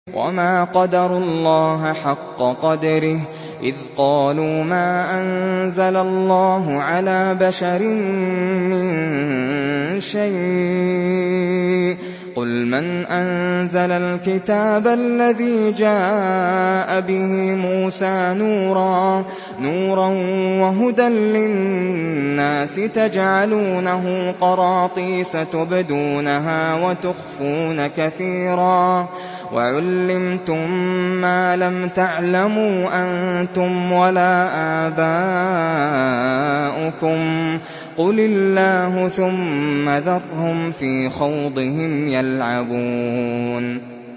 وَمَا قَدَرُوا اللَّهَ حَقَّ قَدْرِهِ إِذْ قَالُوا مَا أَنزَلَ اللَّهُ عَلَىٰ بَشَرٍ مِّن شَيْءٍ ۗ قُلْ مَنْ أَنزَلَ الْكِتَابَ الَّذِي جَاءَ بِهِ مُوسَىٰ نُورًا وَهُدًى لِّلنَّاسِ ۖ تَجْعَلُونَهُ قَرَاطِيسَ تُبْدُونَهَا وَتُخْفُونَ كَثِيرًا ۖ وَعُلِّمْتُم مَّا لَمْ تَعْلَمُوا أَنتُمْ وَلَا آبَاؤُكُمْ ۖ قُلِ اللَّهُ ۖ ثُمَّ ذَرْهُمْ فِي خَوْضِهِمْ يَلْعَبُونَ